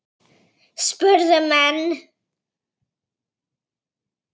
Hvenær fluttir þú að heiman?